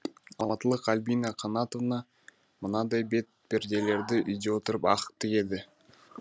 алматылық альбина қанатова мынадай бет перделерді үйде отырып ақ тігеді